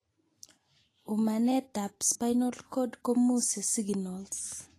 Umanet ab spinal cord komuse siginals